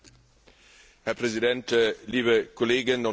Herr Präsident, liebe Kolleginnen und Kollegen!